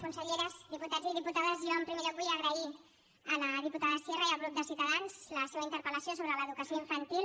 conselleres diputats i diputades jo en primer lloc vull agrair a la diputada sierra i al grup de ciutadans la seva interpel·lació sobre l’educació infantil